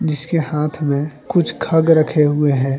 इसके हाथ में कुछ खग रखे हुए हैं।